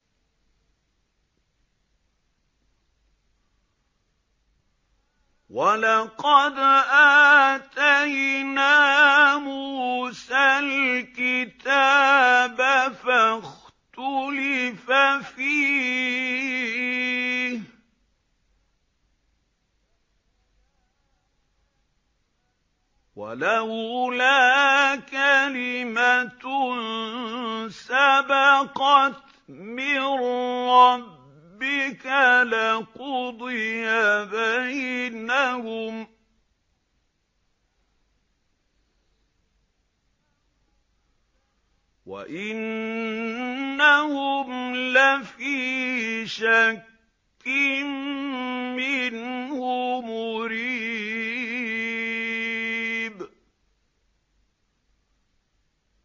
وَلَقَدْ آتَيْنَا مُوسَى الْكِتَابَ فَاخْتُلِفَ فِيهِ ۚ وَلَوْلَا كَلِمَةٌ سَبَقَتْ مِن رَّبِّكَ لَقُضِيَ بَيْنَهُمْ ۚ وَإِنَّهُمْ لَفِي شَكٍّ مِّنْهُ مُرِيبٍ